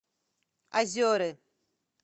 озеры